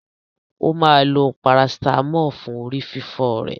Ó máa lo parasítámọ̀ fún orí fífọ́ rẹ̀.